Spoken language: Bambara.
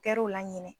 Kɛra u la ɲinɛ